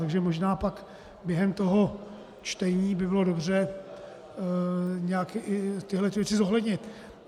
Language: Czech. Takže možná pak během toho čtení by bylo dobře nějak tyto věci zohlednit.